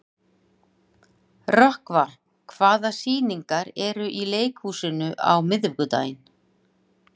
Rökkva, hvaða sýningar eru í leikhúsinu á miðvikudaginn?